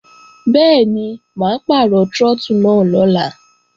Bẹ́ẹ̀ni, mà á pàrọ̀ trọ́tù náà lọ́la